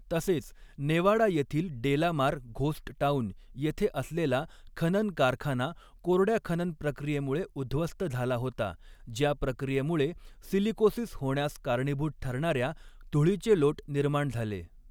तसेच, नेवाडा येथील Delamar ghost town येथे असलेला खनन कारखाना कोरड्या खनन प्रक्रियेमुळे उद्ध्वस्त झाला होता ज्या प्रक्रियेमुळे सिलिकोसिस होण्यास कारणीभूत ठरणाऱ्या धुळीचे लोट निर्माण झाले.